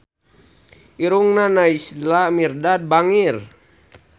Irungna Naysila Mirdad bangir